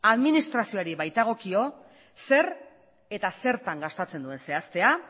administrazioari baitagokio zer eta zertan gastatzen zuen zehaztea